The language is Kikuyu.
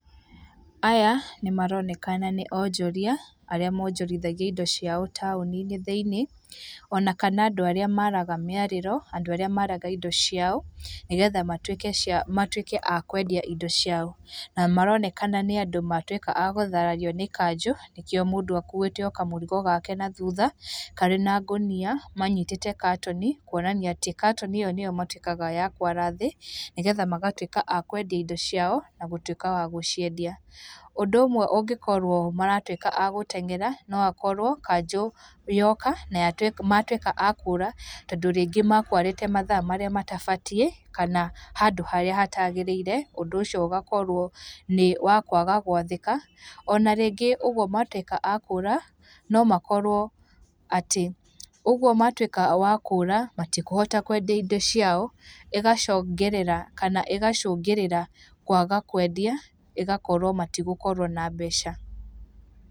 Aya nĩmaronekana nĩ onjoria arĩa monjorithagia indo ciao taũni-inĩ thĩiniĩ. Ona kana andũ arĩa maraga mĩarĩro, andũ arĩa maraga indo ciao, nĩgetha matuĩke a kwendia indo ciao. Na maronekana nĩ andũ matũĩka a gũtharario nĩ kanjũ, nĩkĩo mũndũ akuĩte o kamũrigo gake nathutha karĩ na ngũnia manyitĩte katoni kũonania atĩ katoni ĩyo nĩyo matuĩkaga a kwara thĩ, nĩgetha magatuĩka a kwendia indo ciao na gũtuĩka a gũciendia. Ũndũ ũmwe ũngikorwo maratuĩka a gũteng'era, no hakorwo kanjũ yoka na matuĩka a kũũra, tondũ rĩngĩ mekwarĩte mathaa marĩa matabatiĩ kana handũ harĩa hatagĩrĩire. Ũndũ ũcio ũgakorwo nĩ wa kwaga gwathĩka. Ona rĩngĩ ũguo matuĩka a kũũra no makorwo, atĩ ũguo matuĩka a kũũra, matikũhota kwendia indo ciao, ĩgacongĩrĩra, kana ĩgacũngĩrĩra kwaga kwendia, ĩgakorwo matigũkorwo na mbeca.